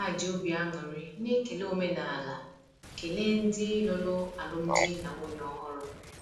Ha ji obi aṅụrị na ekele omenaala kelee ndị lụrụ alụmdi na nwunye ọhụrụ.